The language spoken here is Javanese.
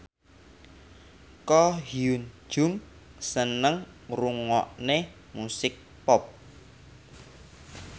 Ko Hyun Jung seneng ngrungokne musik pop